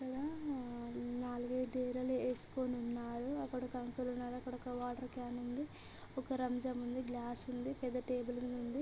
ఆ నాలుగు ఐదు డేరా లు ఎస్కొని ఉన్నారు ఇక్కడ ఒక అంకుల్ ఉన్నారు అక్కడ ఒక వాటర్ క్యాన్ ఉంది ఒక రంజాన్ నుండి ఒక గ్లాస్ ఉంది పెద్ద టేబుల్ ఉంది.